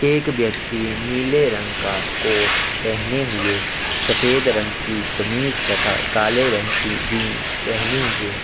एक व्यक्ति नीले रंग का कोट पहने हुए सफेद रंग की कमीज तथा काले रंग की जींस पहने हुए--